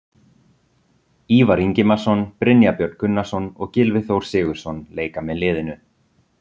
Ívar Ingimarsson, Brynjar Björn Gunnarsson og Gylfi Þór Sigurðsson leika með liðinu.